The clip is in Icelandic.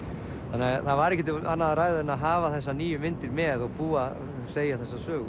það var ekkert um annað að ræða en að hafa þessa nýju myndir með og segja þessa sögu